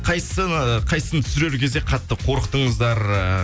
қайсысын қайсысын түсірер кезде қатты қорықтыңыздар